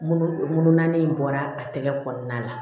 Munu munu na in bɔra a tɛgɛ kɔnɔna la